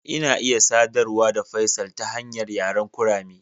Ina iya sadarwa da Faisal ta hanyar yaren kurame.